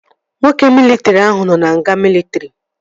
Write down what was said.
Nwoke mịlịtrị ahụ nọ na nga mịlịtrị